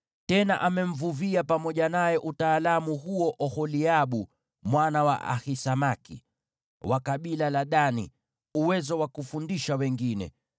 Tena amempa yeye pamoja na Oholiabu, mwana wa Ahisamaki, wa kabila la Dani, uwezo wa kufundisha wengine.